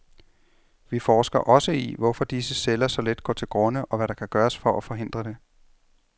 Vi forsker også i, hvorfor disse celler så let går til grunde, og hvad der kan gøres for at forhindre det.